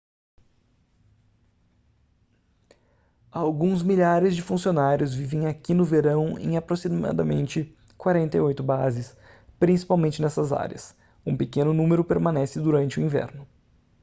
alguns milhares de funcionários vivem aqui no verão em aproximadamente 48 bases principalmente nessas áreas um pequeno número permanece durante o inverno